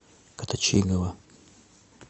коточигова